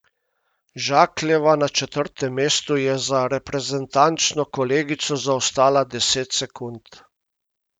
Žakljeva na četrtem mestu je za reprezentančno kolegico zaostala deset sekund.